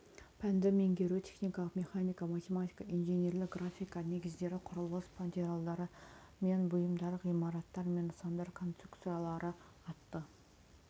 пәнді меңгеру техникалық механика математика инженерлік графика негіздері құрылыс материалдары мен бұйымдары ғимараттар мен нысандар конструкциялары атты